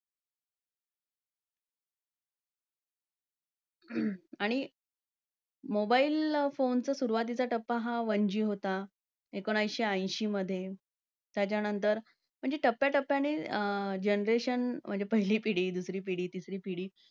आणि mobile phones चा सुरुवातीचा टप्पा हा one G होता. एकोणीसशे ऐंशीमध्ये, त्याच्यानंतर म्हणजे टप्याटप्याने generation म्हणजे पहिली पिढी, दुसरी पिढी, तिसरी पिढी